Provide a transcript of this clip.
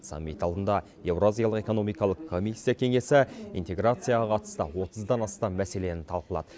саммит алдында еуразиялық экономикалық комиссия кеңесі интеграцияға қатысты отыздан астам мәселені талқылады